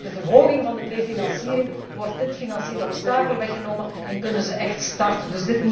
Door de verhoging van de prefinanciering wordt dit financieel obstakel weggenomen en kunnen ze echt van start gaan.